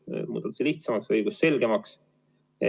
See muutub lihtsamaks, õigusselgemaks.